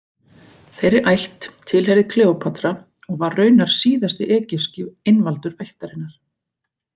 Þeirri ætt tilheyrði Kleópatra og var raunar síðasti egypski einvaldur ættarinnar.